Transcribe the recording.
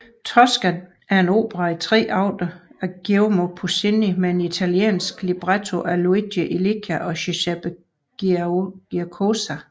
Tosca er en opera i tre akter af Giacomo Puccini med en italiensk libretto af Luigi Illica og Giuseppe Giacosa